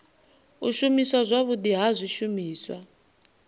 u shumiswa zwavhudi ha zwishumiswa